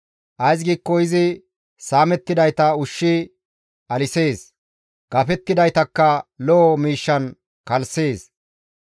Ays giikko izi saamettidayta ushshi alisees; gafidaytakka lo7o miishshan kalssees.